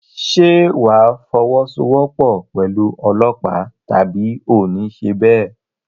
Ṣé wà á fọwọ́sowọ́pọ̀ pẹ̀lú ọlọ́pàá tàbí oò ní ṣe bẹ́ẹ̀?